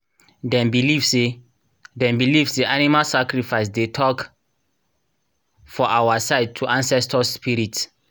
dem believe say dem believe say animal sacrifice dey talk for our side to ancestors spirit.